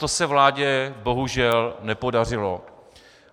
To se vládě bohužel nepodařilo.